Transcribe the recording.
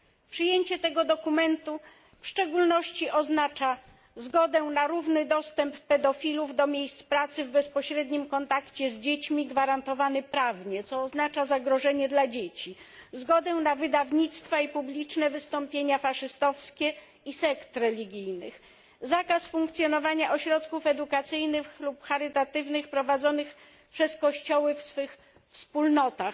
Przyjęcie tego dokumentu w szczególności oznacza zgodę na równy dostęp pedofilów do miejsc pracy w bezpośrednim kontakcie z dziećmi gwarantowany prawnie, co oznacza zagrożenie dla dzieci, zgodę na wydawnictwa i publiczne wystąpienia faszystowskie i sekt religijnych, zakaz funkcjonowania ośrodków edukacyjnych lub charytatywnych prowadzonych przez kościoły w swych wspólnotach,